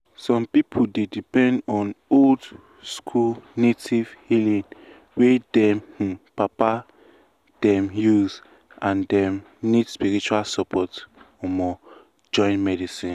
some people dey depend on old-school native healing wey dem um papa them use and dem need spiritual support um join medicine.